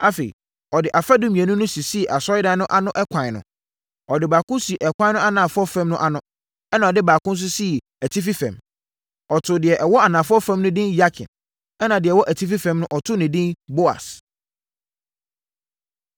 Afei, ɔde afadum mmienu no sisii Asɔredan no ano ɛkwan ano. Ɔde baako sii ɛkwan no anafoɔ fam no ano, ɛnna ɔde baako nso sii atifi fam. Ɔtoo deɛ ɛwɔ anafoɔ fam no edin Yakin, ɛnna deɛ ɛwɔ atifi fam no, ɔtoo no edin Boas.